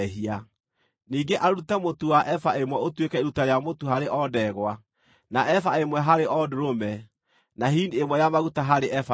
Ningĩ arute mũtu wa eba ĩmwe ũtuĩke iruta rĩa mũtu harĩ o ndegwa, na eba ĩmwe harĩ o ndũrũme, na hini ĩmwe ya maguta harĩ eba ĩmwe.